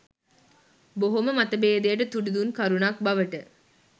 බොහොම මතභේදයට තුඩු දුන් කරුණක් බවට